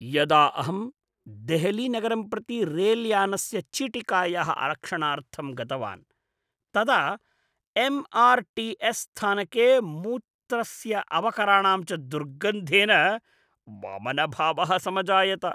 यदा अहं देहलीनगरं प्रति रेलयानस्य चीटिकायाः आरक्षणार्थं गतवान् तदा एम्. आर्. टि. एस्. स्थानके मूत्रस्य अवकराणां च दुर्गन्धेन वमनभावः समजायत।